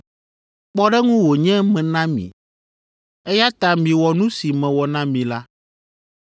Kpɔɖeŋu wònye mena mi, eya ta miwɔ nu si mewɔ na mi la.